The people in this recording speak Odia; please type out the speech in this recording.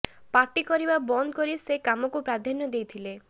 ପାର୍ଟି କରିବା ବନ୍ଦ କରି ସେ କାମକୁ ପ୍ରାଧାନ୍ୟ ଦେଇଥିଲେ